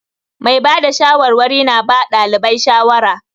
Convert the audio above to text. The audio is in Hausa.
Mai ba da shawarwari na ba ɗalibai shawara.